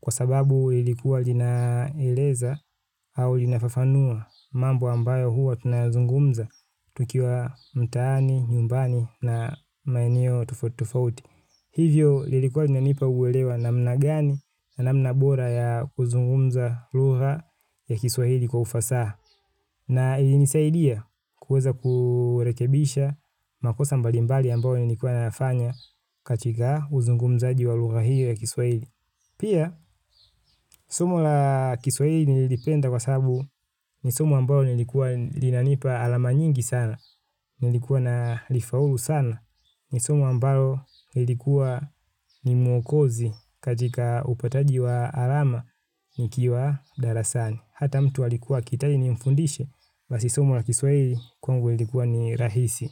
kwa sababu ilikuwa linaeleza au linafafanua mambo ambayo huwa tunayazungumza tukiwa mtaani, nyumbani na maeneo tofauti tofauti. Hivyo, lilikuwa lina nipa uwelewa namna gani namna bora ya kuzungumza lugha ya kiswahili kwa ufasaha. Na ili nisaidia kuweza kurekebisha makosa mbalimbali ambayo nilikuwa nayafanya katika uzungumzaji walugha hiyo ya kiswahili. Pia, somo la kiswahili nililipenda kwa sababu ni somo ambayo nilikuwa linanipa alama nyingi sana, nilikuwa na lifaulu sana, ni somo ambalo nilikuwa ni mwokozi katika upataji wa alama nikiwa darasani. Hata mtu alikua akihitaji ni mfundishe. Basi somu la kiswahili kwangu ilikuwa ni rahisi.